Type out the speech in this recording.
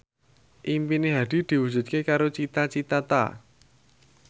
impine Hadi diwujudke karo Cita Citata